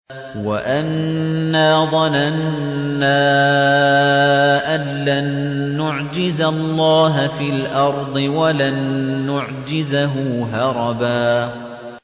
وَأَنَّا ظَنَنَّا أَن لَّن نُّعْجِزَ اللَّهَ فِي الْأَرْضِ وَلَن نُّعْجِزَهُ هَرَبًا